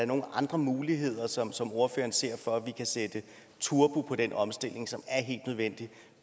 nogle andre muligheder som som ordføreren ser for at vi kan sætte turbo på den omstilling som er helt nødvendig